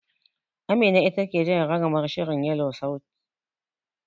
Amina ita take jan ragamar shirin Yelo sauti.